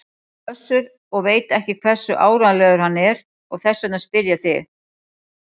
Össur og veit ekki hversu áreiðanlegur hann er og þess vegna spyr ég þig.